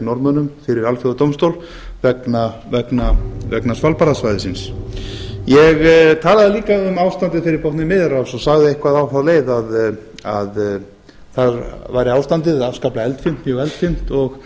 norðmönnum fyrir alþjóðadómstól vegna svalbarðasvæðisins ég talaði líka um ástandið fyrir botni miðjarðarhafs og sagði eitthvað á þá leið að þar væri ástandið afskaplega eldfimt mjög eldfimt